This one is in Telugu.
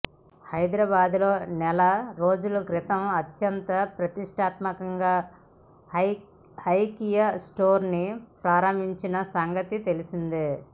హైదరాబాద్ లో నెల రోజుల క్రితం అత్యంత ప్రతిష్టాత్మకంగా ఐకియా స్టోర్ ని ప్రారంభించిన సంగతి తెలిసిందే